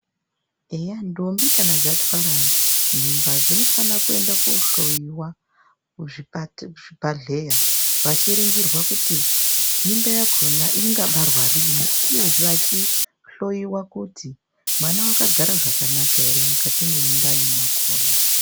Eya ndombi kana dzatwara mimba dzinofana kohlowiwa kuzvibhahleya vachiringirwa kuti mimba yakhona ingabarwa rini uyezve vachihlowiwa kuti mwana wakagara zvakanaka ere mundani mwakhona.